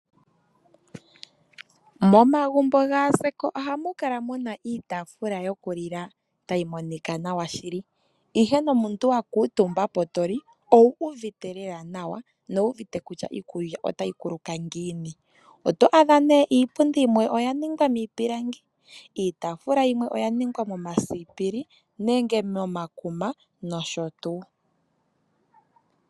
Momagumbo gaazeko ohamu kala muna iitafula yoku lila ta yi monika nawa shili, ihe nomuntu wakuutumba po to li owu uvite lela nawa no wuuvite kutya iikulya otayi kuluka ngiini. Oto adha nee iipundi yimwe oya ningwa miipilangi, iitafula yimwe oya ningwa momasipili nenge momakuma nosho tuu.